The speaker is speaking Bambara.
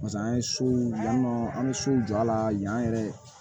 Pase an ye sow yan nɔ an bɛ sow jɔ a la yan yɛrɛ